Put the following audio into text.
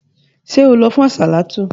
Ṣé o lọ fún àsàlátù?